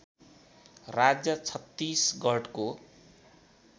राज्य छत्तिसगढको